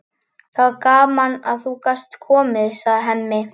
Það var gaman að þú gast komið, segir Hemmi.